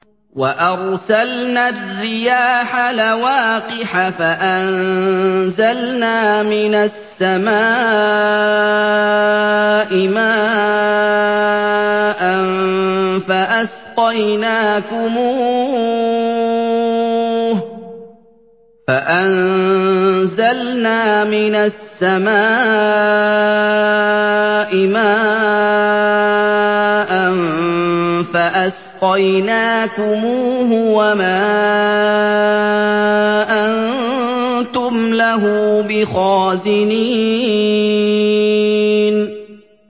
وَأَرْسَلْنَا الرِّيَاحَ لَوَاقِحَ فَأَنزَلْنَا مِنَ السَّمَاءِ مَاءً فَأَسْقَيْنَاكُمُوهُ وَمَا أَنتُمْ لَهُ بِخَازِنِينَ